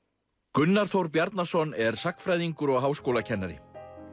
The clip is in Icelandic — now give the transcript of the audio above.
Gunnar Þór Bjarnason er sagnfræðingur og háskólakennari